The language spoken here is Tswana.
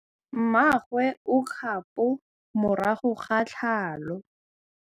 Mmagwe o kgapô morago ga tlhalô.